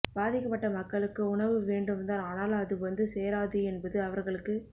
பாதிக்கப்பட்ட மக்களுக்கு உணவு வேண்டும்தான் ஆனால் அது வந்து சேராது என்பது அவர்களுக்கு